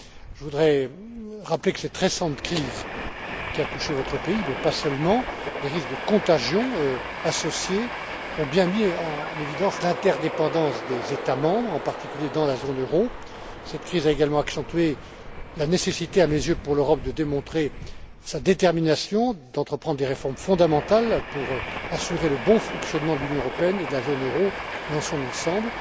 Je voudrais rappeler que cette récente crise qui a touché votre pays, mais pas seulement, et les risques de contagion qui y sont associés, ont bien mis en évidence l'interdépendance des États membres, en particulier dans la zone euro. Cette crise a également accentué la nécessité, à mes yeux, pour l'Europe de démontrer sa détermination à entreprendre des réformes fondamentales pour assurer le bon fonctionnement de l'Union européenne et de la zone euro dans son ensemble.